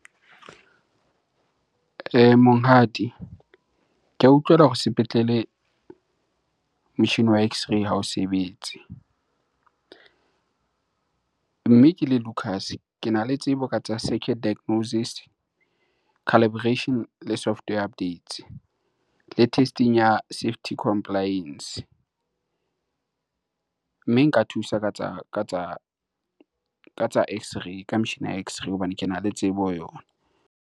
Monghadi, ke ya utlwela hore sepetlele motjhini wa x- ray hao sebetse. Mme ke le Lucas, kena le tsebo ka tsa circuit diagnosis, calibration le software updates le testing ya safety compliance. Mme nka thusa ka tsa x-ray, ka metjhini ya x-ray hobane kena le tsebo ho yona.